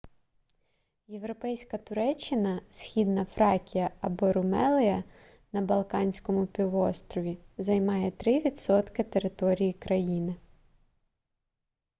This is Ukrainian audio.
європейська туреччина східна фракія або румелия на балканському півострові займає 3 % території країни